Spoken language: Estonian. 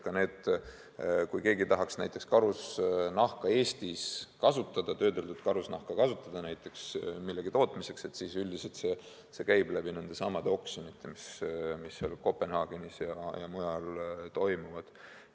Ka siis, kui keegi tahaks karusnahka Eestis kasutada, näteks töödeldud karusnahka kasutada millegi tootmiseks, siis üldiselt see käib nendesamade oksjonite kaudu, mis Kopenhaagenis ja mujal toimuvad.